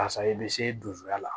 Karisa i bɛ se dusuya la